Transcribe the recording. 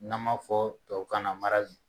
N'an ma fɔ tubabukan na